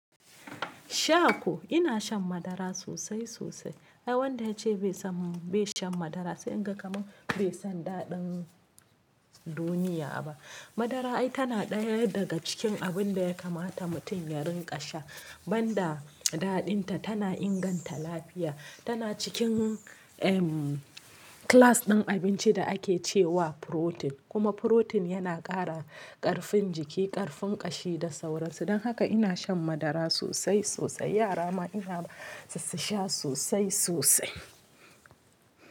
Sha ko, ina shan madara sosai sosai. Ai wanda yace bai san, bai shan madara sai in ga kamar bai san daɗin duniya ba. Madara ai tana ɗaya daga cikin abun da ya kamata mutum ya rinƙa sha. Banda daɗin ta, tana inganta lafiya. Tana cikin, ehm, class ɗin abinci da ake ce wa protein Kuma furotin yana ƙara ƙarfin jiki, ƙarfin ƙashi da sauransu. Don haka ina shan madara sosai sosai. Yara ma ina ba su su sha sosai sosai.